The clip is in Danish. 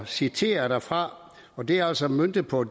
citere derfra det er altså møntet på